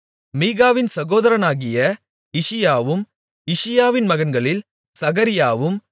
மீகாவின் சகோதரனாகிய இஷியாவும் இஷியாவின் மகன்களில் சகரியாவும்